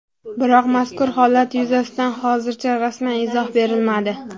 Biroq mazkur holat yuzasidan hozircha rasman izoh berilmadi.